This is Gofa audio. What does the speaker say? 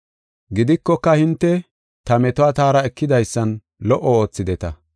Gidikoka, hinte ta metuwa taara ekidaysan lo77o oothideta.